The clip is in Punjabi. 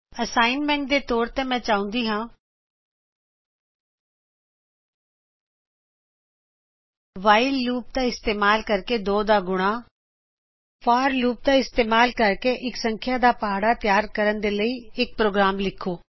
ਹੋਮ ਵਰਕ ਦੇ ਰੂਪ ਵਿਚਮੈਂ ਚਾਹੁੰਦੀ ਹਾ ਕੀ ਤੁਸੀਂ whileਲੂਪ ਦਾ ਇਸਤਿਮਾਲ ਕਰਕੇ 2 ਦਾ ਗੁਣਾ ਫੋਰ ਲੂਪ ਦਾ ਇਸਤਿਮਾਲ ਕਰਕੇ ਇਕ ਸੰਖਯਾ ਦਾ ਪਹਾੜਾ ਤਿਯਾਰ ਕਰਨ ਦੇ ਲਈ ਇਕ ਪ੍ਰੋਗਰਾਮ ਲਿਖੋ